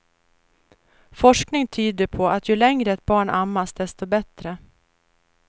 Forskning tyder på att ju längre ett barn ammas desto bättre.